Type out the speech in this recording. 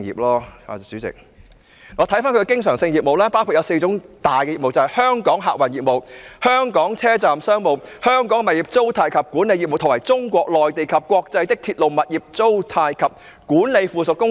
我們看看它的經常性業務包括四大業務，就是香港客運業務、香港車站商務、香港物業租賃及管理業務，以及中國內地及國際的鐵路、物業租賃及管理附屬公司。